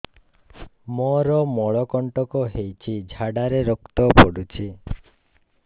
ମୋରୋ ମଳକଣ୍ଟକ ହେଇଚି ଝାଡ଼ାରେ ରକ୍ତ ପଡୁଛି